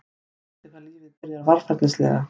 Skrýtið hvað lífið byrjar varfærnislega.